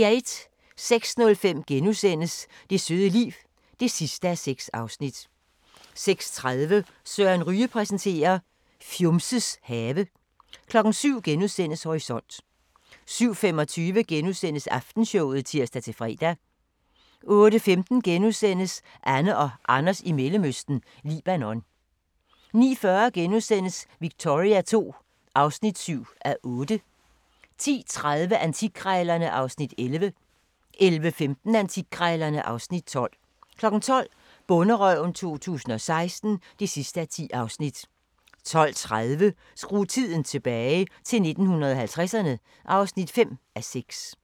06:05: Det søde liv (6:6)* 06:30: Søren Ryge præsenterer: Fjumses have 07:00: Horisont * 07:25: Aftenshowet *(tir-fre) 08:15: Anne og Anders i Mellemøsten – Libanon * 09:40: Victoria II (7:8)* 10:30: Antikkrejlerne (Afs. 11) 11:15: Antikkrejlerne (Afs. 12) 12:00: Bonderøven 2016 (10:10) 12:30: Skru tiden tilbage – til 1950'erne (5:6)